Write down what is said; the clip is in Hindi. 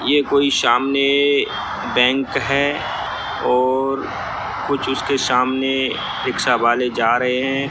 ये कोई सामने बैंक है और कुछ उसके सामने रिक्शा वाले जा रहे हैं।